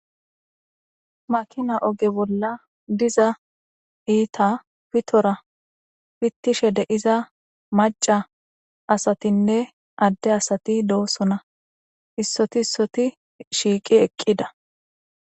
makina oge bolla diza iita pitora pittishe deiza maca asatinne adde asati doosona issoti issoti shiiqi eqqida